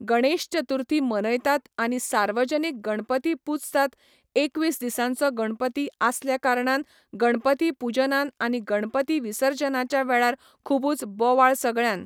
गणेश चतुर्थी मनयतात आनी सार्वजनीक गणपती पुजतात एकवीस दिसांचो गणपती आसल्या कारणान गणपती पुजनान आनी गणपती विर्सजनाच्या वेळार खूबुच बोवाळ सगळ्यान